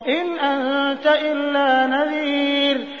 إِنْ أَنتَ إِلَّا نَذِيرٌ